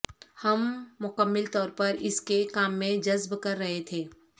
ہم مکمل طور پر اس کے کام میں جذب کر رہے تھے